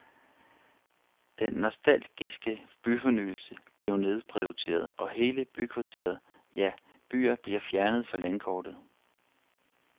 Den nostalgiske byfornyelse bliver nedprioriteret, og hele bykvarterer, ja, byer bliver fjernet fra landkortet.